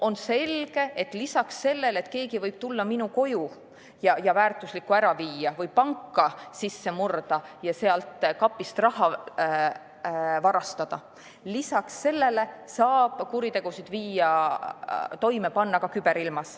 On selge, et lisaks sellele, et keegi võib tulla minu koju ja väärtusliku ära viia või panka sisse murda ja sealt kapist raha varastada, saab kuritegusid toime panna ka küberilmas.